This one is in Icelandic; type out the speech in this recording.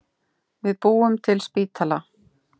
Við búum til spítala!